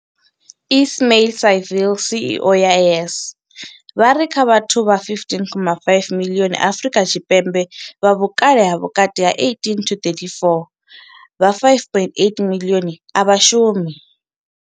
Ismail-Saville CEO wa YES, vha ri kha vhathu vha 15.5 miḽioni Afrika Tshipembe vha vhukale ha vhukati ha 18 na 34, vha 5.8 miḽioni a vha shumi.